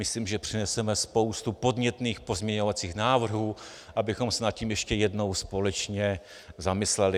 Myslím, že přineseme spoustu podnětných pozměňovacích návrhů, abychom se nad tím ještě jednou společně zamysleli.